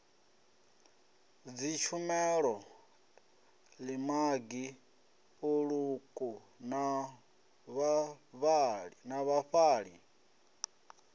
dzitshumelo ḽimagi ḽiṱuku na vhafhaṱi